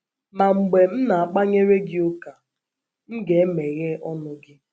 Ma mgbe m na - akpanyere gị ụka, m ga - emeghe ọnụ gị.